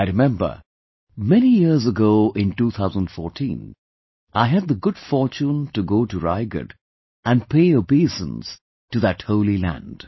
I remember, many years ago in 2014, I had the good fortune to go to Raigad and pay obeisance to that holy land